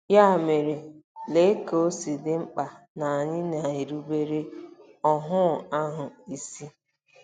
Ya mere, lee ka o si dị mkpa na anyị na-erubere “óhù ahụ” isi!